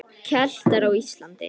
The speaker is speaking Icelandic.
Keltar á Íslandi.